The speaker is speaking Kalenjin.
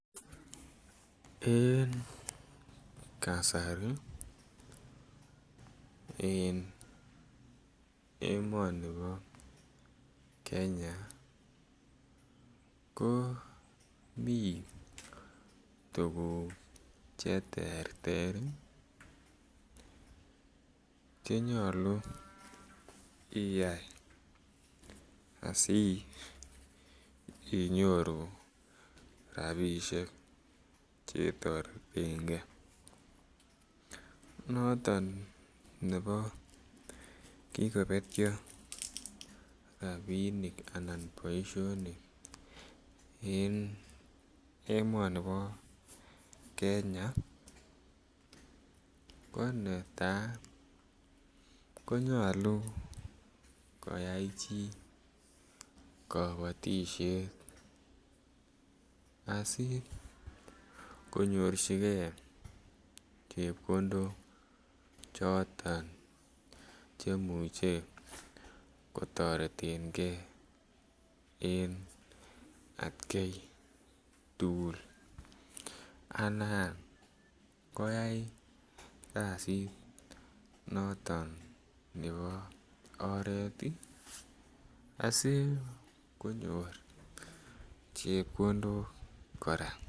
En emoni bo Kenya ko mi tuguk Che terter Che nyolu Iyai asi inyoru rabisiek Che toreten ge noton nebo kigobetyo rabinik anan boisionik en emoni bo Kenya ko netai ko nyolu koyai chi kabatisiet asi konyorchigei chepkondok choton Che imuche kotoreten ge en atkai tugul anan koyai kasit noton nebo oret asi konyor chepkondok kora